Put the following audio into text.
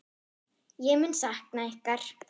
Ég mun sakna ykkar.